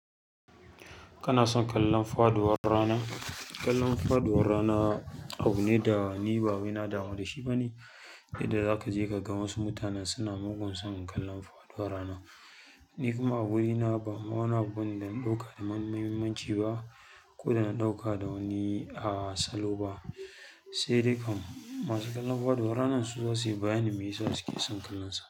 Kana son kallon faɗuwar rana? Kallon faɗuwar rana abu ne da ni ba wani na damu da shi ba ne. Yadda za ka je ka ga wasu mutanen suna mugun son kallon faduwar rana. Ni kuma a wurina ba ma wani abu da na ɗauka da muhimmanci ba, ko da na ɗauka da wani a salo ba. Sai dai kam masu kallon faduwar ranan su za su yi bayani me yasa su ke son kallonsa.